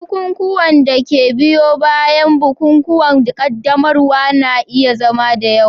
Bukukuwan da ke biyo bayan bukukuwan qaddamarwa na iya zama da yawa.